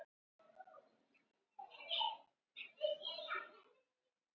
Við erum óheppnir með dómara eins og er.